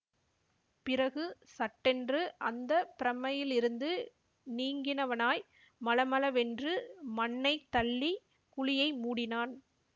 பிறகு சட்டென்று அந்த பிரம்மையிலிருந்து நீங்கினவனாய் மளமளவென்று மண்ணைத் தள்ளிக் குழியை மூடினான்